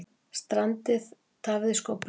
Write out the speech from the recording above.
Strandið tafði skófluna